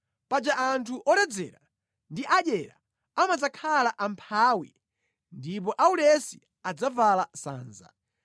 Paja anthu oledzera ndi adyera amadzakhala amphawi ndipo aulesi adzavala sanza.